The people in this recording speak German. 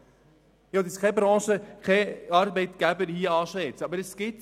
Ich will hier keine bestimmten Branchen oder Arbeitgeber anschwärzen, aber es gibt sie.